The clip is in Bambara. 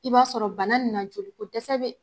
I b'a sɔrɔ bana nin na joli ko dɛsɛ be